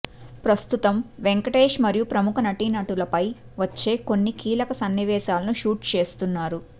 ప్రస్తుతం వెంకటేష్ మరియు ప్రముఖ నటీనటులపై వచ్చే కొన్ని కీలక సన్నివేశాలను షూట్ చేస్తున్నారు